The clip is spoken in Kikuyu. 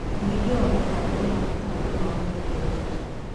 ũhingia wa mĩbango ũrabatara ũma wa wĩigĩrĩrĩki.